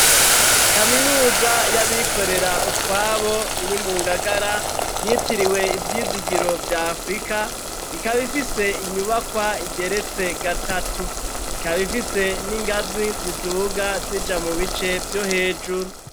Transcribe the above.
Kaminuza y'abikorera utwabo iri mu ngagara yitiriwe ivyizigiro vya afurika ikaba ifise inyubakwa igeretse gatatu ikaba ifise n'ingazi ziduuga zija mu bice vyo hejuru.